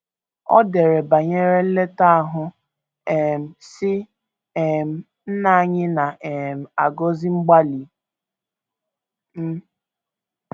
O dere banyere nleta ahụ, um sị: um “ Nna anyị na um - agọzi mgbalị m.